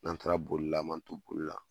N'an taara bolila, an man to bolila